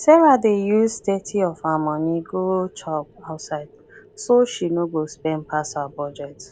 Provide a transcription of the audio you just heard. sarah dey use thirty of her money go chop outside so she no go spend pass her budget